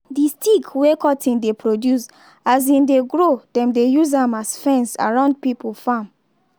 d stick wey cotton dey produce as im dey grow dem dey use am as fence around pipo farm.